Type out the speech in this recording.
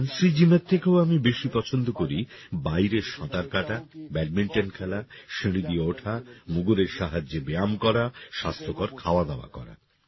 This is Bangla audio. ফ্যান্সি জিমের থেকেও আমি বেশি পছন্দ করি বাইরে সাঁতার কাটা ব্যাডমিন্টন খেলা সিঁড়ি দিয়ে ওঠা মুগুরের সাহায্যে ব্যায়াম করা স্বাস্থ্যকর খাওয়া দাওয়া করা